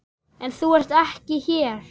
En þú ert ekki hér.